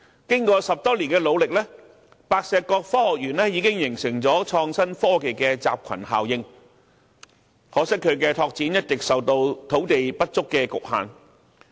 經過10多年的努力，白石角科學園已形成了創新科技的集群效應，可惜它的拓展一直受到土地不足的局限。